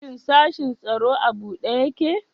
Shin sashin tsaro a buɗe ƴaƙe?